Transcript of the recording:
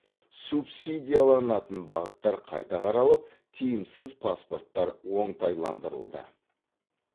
субсидияланатын бағыттар қайта қаралып тиімсіз паспорттар оңтайландырылды